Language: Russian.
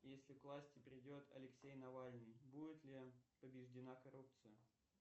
если к власти придет алексей навальный будет ли побеждена коррупция